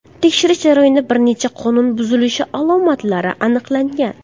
Tekshirish jarayonida bir necha qonun buzilishi alomatlari aniqlangan.